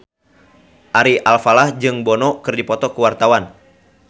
Ari Alfalah jeung Bono keur dipoto ku wartawan